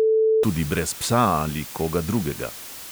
Tudi brez psa ali koga drugega.